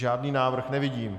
Žádný návrh nevidím.